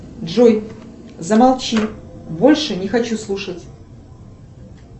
джой замолчи больше не хочу слушать